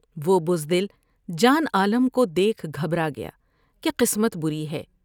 وہ بز دل جان عالم کو دیکھ گھبرا گیا کہ قسمت بری ہے ۔